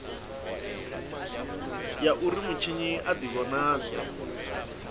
ya uri mutshinyi a divhonadze